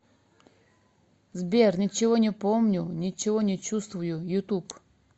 сбер ничего не помню ничего не чувствую ютуб